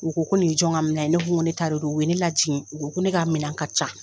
U ko ko nin ye jɔn ka minɛ ye? Ne ko ko ne ta don. O ye ne lajigin. O ko ko ne ka minɛ ka ca.